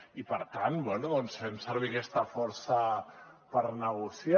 i per tant bé fem servir aquesta força per negociar